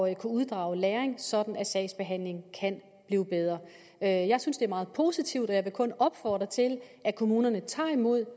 at kunne uddrage læring sådan at sagsbehandlingen kan blive bedre jeg jeg synes det er meget positivt og jeg vil kun opfordre til at kommunerne tager imod